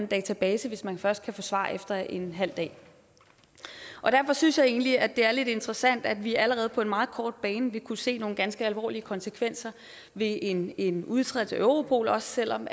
database hvis man først kan få svar efter en halv dag derfor synes jeg egentlig at det er lidt interessant at vi allerede på en meget kort bane vil kunne se nogle ganske alvorlige konsekvenser ved en en udtrædelse af europol også selv om